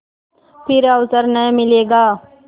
फिर अवसर न मिलेगा